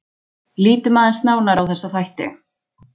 Lítum aðeins nánar á þessa þætti.